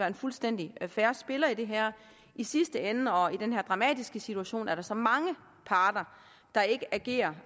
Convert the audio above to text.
en fuldstændig fair spiller i det her i sidste ende og i den her dramatiske situation er der så mange parter der ikke agerer